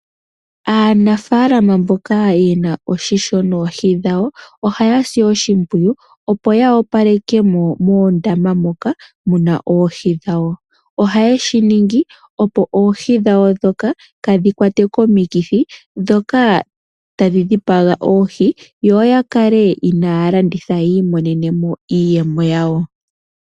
Aanafaalama mboka yena oshisho noohi dhawo ohaa si oshimpwiyu opo ya opaleke mo moondama moka muna oohi dhawo .Ohayeshi ningi opo oohi dhawo ndhoka kaadhi kwatwe komikithi dhoka tadhi dhipaga oohi yo yakale inaaya landitha yi imonene mo iiyemo yawo.